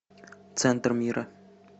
центр мира